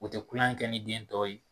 O tɛ kuyan kɛ ni biɲɛ tɔ ye.